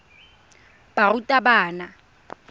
barutabana